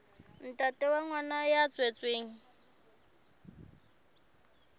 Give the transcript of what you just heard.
ntate wa ngwana ya tswetsweng